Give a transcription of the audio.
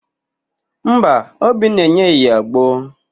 Mba, Obinna enyeghị ya agbo.